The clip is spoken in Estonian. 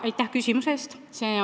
Aitäh küsimuse eest!